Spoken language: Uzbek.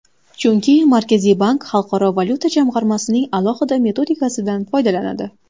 Chunki Markaziy bank Xalqaro valyuta jamg‘armasining alohida metodikasidan foydalanadi.